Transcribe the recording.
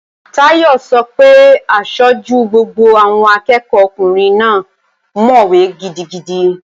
Táyọ̀ sọ pé aṣojú gbogbo àwọn akẹ́ẹ̀kọ́ ọkùnrin náà mọ̀wé gidigidi